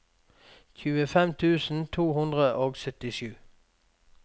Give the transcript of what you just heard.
tjuefem tusen to hundre og syttisju